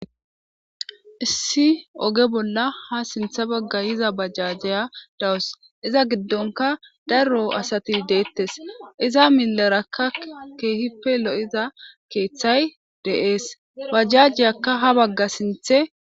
issi oge bolla ha sinthe bagga yiza bajjajjeya dawus iza giddonka daro asati deettes iza millerakka keehippe lo7iza keeththay deees bajajiyakka ha bagga sinthe